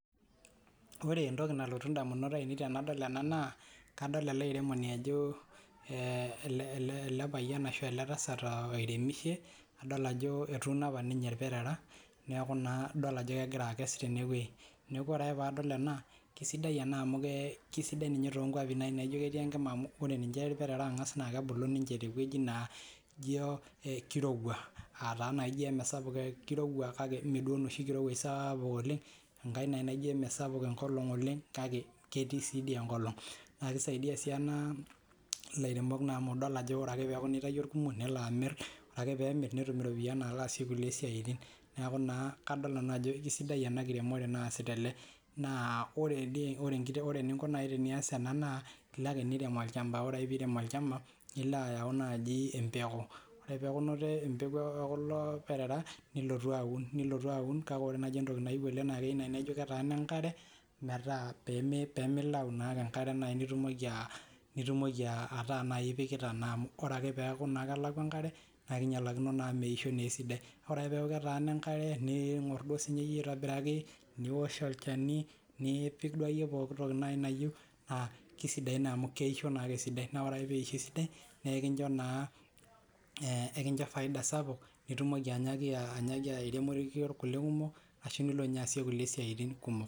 Ore entoki nalotu indamunot ainei tenadol ena naa kadol ele airemoni ajo eh ele ele payian ashu ele tasat uh oiremishe adol ajo etuuno apa nainye ilperera neeku naa idol ajo kegira akes tenewoi neeku ore ake paadol ena kisidai ena amu kee kisidai ninye tonkuapi naai naijio ketii enkima amu ore ninche irperera naa kebulu ninche tewueji naa ijio ekirowua ataa naijio emisapuk kirowua kake mee duo enoshi kirowuaj saapuk oleng enkae naai naijio emisapuk enkolong oleng kake ketii sii dii enkolong naa kisaidia sii ena ilairemok naa amu idol ajo ore ake naa peeku naa itayio irkumok nelo amirr ore ake peemirr netum iropiani nalo aasie kulie siaitin neeku naa kadol nanu ajo kisidai ena kiremore naasita ele naa ore eni ore eninko naai teniyas ena naa ilo ake nirem olchamba ore ake piirem olchamba nilo ayau naaji empeku ore peeku inoto empeku ekulo perera nilotu aun nilotu aun kake ore naaji entoki naiu oleng naa keiu naai naa ijio ketaana enkare metaa peemi peemilau naake enkare naai nitumoki uh nitumoki uh ataa naai ipikita naa amu ore ake peeku naa kelakua enkare naa kinyialakino amu meisho naa esidai ore ake peeku ketaana enkare niing'orr duo sininye iyie aitobiraki niwosh olchani niipik duo akeyie pokitoki naai nayieu naa kisidain naa amu keisho naake esidai naa ore ake peisho esidai nekincho naa eh ekincho faida sapuk nitumoki anyaaki anyaaki airemorie irkulie kumok ashu nilo ninye aasie isiaitin kumok.